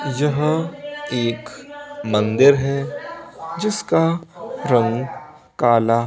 यह एक मंदिर है जिसका रंग काला--